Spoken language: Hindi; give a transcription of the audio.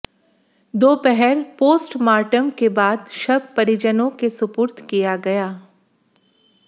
दोपहर पोस्टमार्टम के बाद शव परिजनों के सुपुर्द किया गया